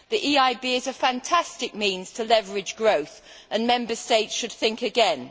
The EIB is a fantastic means to leverage growth, and Member States should think again.